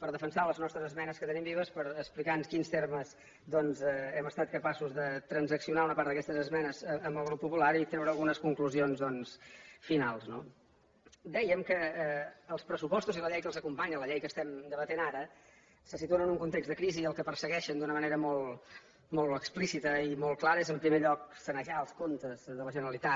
per defensar les nostres esmenes que tenim vives per explicar en quins termes doncs hem estat capaços de transaccionar una part d’aquestes esmenes amb el grup popular i treure algunes conclusions finals no dèiem que els pressupostos i la llei que els acompanya la llei que estem debatent ara se situen en un context de crisi i el que persegueixen d’una manera molt explícita i molt clara és en primer lloc sanejar els comptes de la generalitat